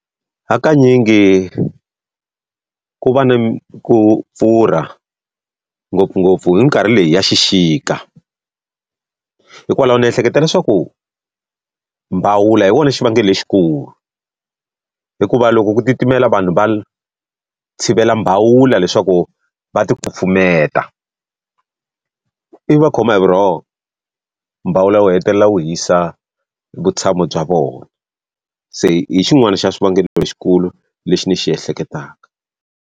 Hakanyingi ku va ni ku pfurha ngopfungopfu hi minkarhi leyi ya xixika. Hikwalaho ni ehleketa leswaku mbawula hi wona xivangelo lexikulu, hikuva loko ku titimela vanhu va tshivela mbawula leswaku va ti kufumeta. Ivi va khoma hi vurhongo, mbawula wu hetelela wu hisa vutshamo bya vona. Se hi xin'wana xa xivangelo lexikulu lexi ni xi ehleketaka.